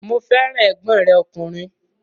Mo fẹ́ràn ẹ̀gbọ́n rẹ̀ ọkùnrin